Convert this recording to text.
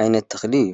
ዓይነት ተክሊ እዩ።